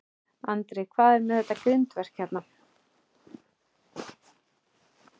Andri: Hvað er með þetta grindverk hérna?